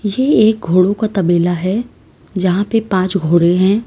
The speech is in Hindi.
ये एक घोड़े का तबेला है जहां पर पांच घोड़े हैं।